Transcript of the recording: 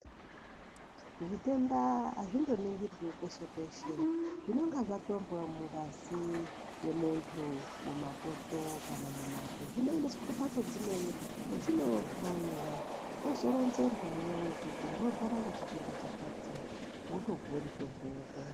Zvitenda azvindoningirwi peshe peshe zvinenga zvatorwa mungazi yemuntu mumatoto kana mumate zvinoendeswe kumhatso dzimweni kwedzinohloiwa wozoronzerwa iwewe kuti unorwara ngechitenda chakati wotopuwe mutombo wo.